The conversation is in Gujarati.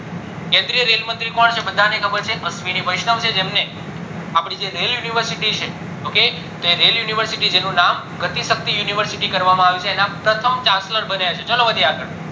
કેન્દ્રિય રેલ મંત્રી કોણ છે બધાને ખબર છે અસ્શ્વીની વૈષ્ણવ જેમને આપડી જે rail university છે ok જેનું નામ university કરવામાં આવ્યું છે એના પ્રથમ chancellor બન્યા છે ચાલો વધીએ આગળ